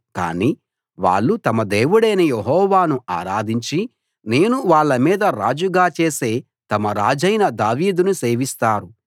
కాని వాళ్ళు తమ దేవుడైన యెహోవాను ఆరాధించి నేను వాళ్ళ మీద రాజుగా చేసే తమ రాజైన దావీదును సేవిస్తారు